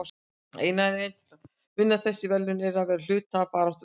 Eina leiðin til að vinna þessi verðlaun er að vera hluti af baráttuliði.